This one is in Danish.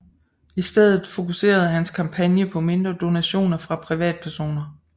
I stedet fokuserede hans kampagne på mindre donationer fra privatpersoner